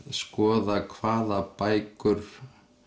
skoða hvaða bækur